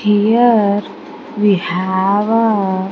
Here we have a --